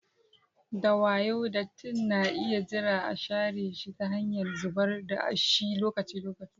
Da wayo, dattin na iya jira a share shi ta hanyar zubar da shi lokaci-lokaci.